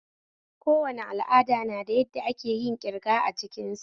Kowane al'ada na da yadda akeyin kirga a cikin sa